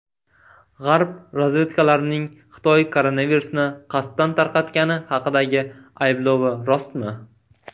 G‘arb razvedkalarining Xitoy koronavirusni qasddan tarqatgani haqidagi ayblovi rostmi?.